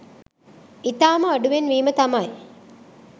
ඉතාම අඩුවෙන් වීම තමයි